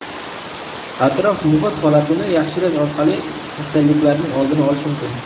Atrof-muhit holatini yaxshilash orqali kasalliklarning oldini olish mumkin.